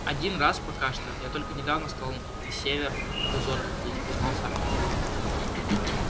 один раз пока что я только недавно стал на север в дозоры ходить признался артём